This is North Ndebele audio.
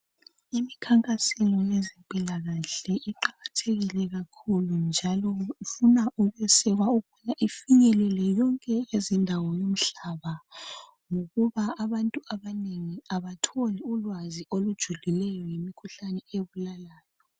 Imikhankaso yabezempilakahle iqakathekile kakhulu njalo kufuna ukwesekwa ukuba ifinyelele yonke indawo umhlaba wonke ngokuba abantu abanengi abatholi ulwazi olujulileyo ngemikhuhlane ebulalayo